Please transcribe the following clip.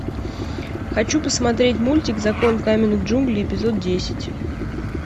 хочу посмотреть мультик закон каменных джунглей эпизод десять